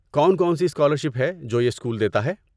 کون کون سی اسکالرشپ ہے جو یہ اسکول دیتا ہے؟